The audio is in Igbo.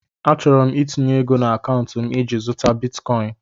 Achọrọ m itinye ego na akaụntụ m iji zụtakwu Bitikoin